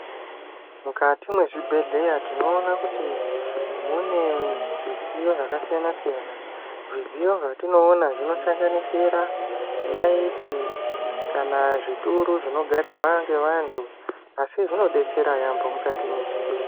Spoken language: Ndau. Mukati mezvibhehleya tinoona kuti mune zvidziyo zvakasiyana siyana. Zvidziyo zvatinoona zvinosanganisira nayiti kana zvituru zvinogarirwa ngevanthu asi zvinodetsera yaampho mukati mezvibhehleya.